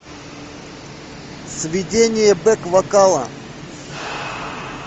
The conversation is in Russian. сведение бэк вокала